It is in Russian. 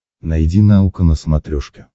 найди наука на смотрешке